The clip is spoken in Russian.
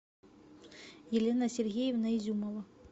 елена сергеевна изюмова